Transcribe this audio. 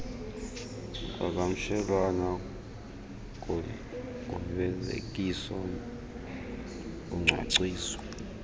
kuqhagamshelwano kufezekiso locwangciso